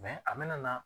a bɛna na